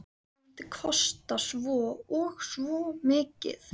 Hann mundi kosta svo og svo mikið.